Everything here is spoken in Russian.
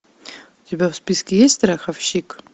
у тебя в списке есть страховщик